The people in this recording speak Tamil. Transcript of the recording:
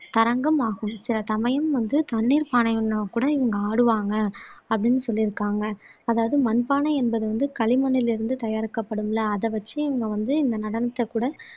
தரங்கம் ஆகும் சில சமயம் வந்து தண்ணீர்ப் பானையுடனும் கூட இங்க ஆடுவாங்க அப்படின்னும் சொல்யிருக்காங்க அதாவது மண்பானை என்பது வந்து களிமண்ணுல இருந்து தயாரிக்கப்படும்ல அத வச்சி இங்க வந்து இந்த நடனத்தை கூட